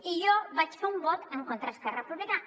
i jo vaig fer un vot en contra d’esquerra republicana